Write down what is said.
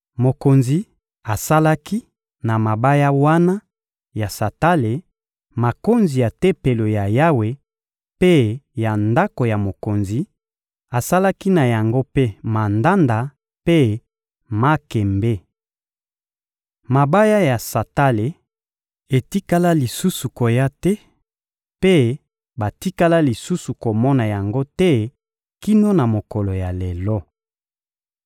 Mokonzi asalaki na mabaya wana ya santale makonzi ya Tempelo ya Yawe mpe ya ndako ya mokonzi; asalaki na yango mpe mandanda mpe makembe. Mabaya ya santale etikala lisusu koya te, mpe batikala lisusu komona yango te kino na mokolo ya lelo.